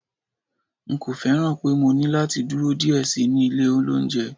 n ko fẹràn pe mo ní lati dúró diẹ sí ní ilé olounje